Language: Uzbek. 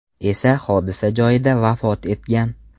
esa hodisa joyida vafot etgan.